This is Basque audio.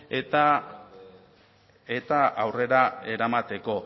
eta aurrera eramateko